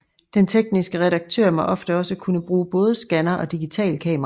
Den tekniske redaktør må ofte også kunne bruge både skanner og digitalkamera